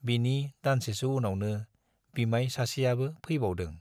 बिनि दानसेसो उनावनो बिमाय सासेयाबो फैबावदों।